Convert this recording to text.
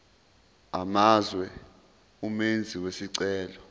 amazwe umenzi wesicelo